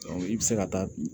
i bɛ se ka taa bin